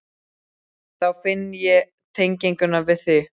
Þá finn ég tengingu við þig.